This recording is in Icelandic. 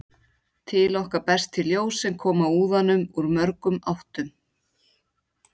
Til okkar berst því ljós sem kom að úðanum úr mörgum áttum.